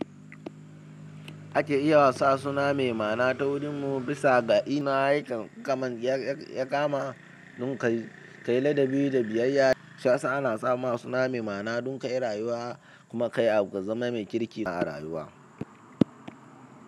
Ake iya sa suna mai ma'ana ta wurin mu bisa ga ina yaka kama. Dun kaila da bi da biyayya, shiyasa ana sama suna mai mana dun kai rayuwa kuma kai abu ka zama mai kirki a rayuwa.